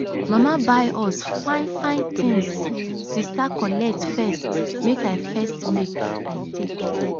mama buy us fine fine thingssister collect first make i first make i take.